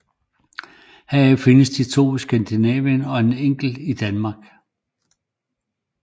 Heraf findes de to i Skandinavien og en enkelt i Danmark